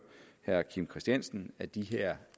herre kim christiansen at de her